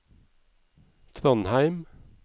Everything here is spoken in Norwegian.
Trondheim